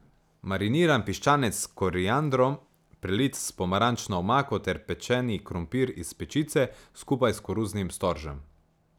Mariniran piščanec s koriandrom, prelit s pomarančno omako ter pečeni krompir iz pečice, skupaj s koruznim storžem.